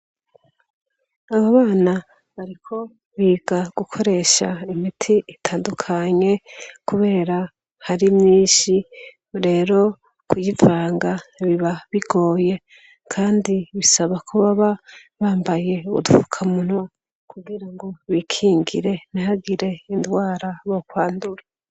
Icumba c' ubushakashatsi harimw' abanyeshure n' umwarimu wabo yambay' itaburiya yer' imbere yabo hari 'mez' irimw' imiti itandukanye' umwe mubanyeshur' arikuvang' imit' afis' agacupa karimw' umut'utukura n' akandi gacupa kabonerana, abandi bari kuraba n' ukwitegereza can' ivy' arigukora.